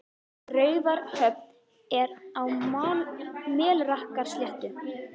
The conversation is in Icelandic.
Raufarhöfn er á Melrakkasléttu.